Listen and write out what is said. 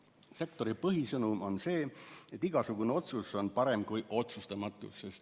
Sektori põhisõnum on see, et igasugune otsus on parem kui otsustamatus.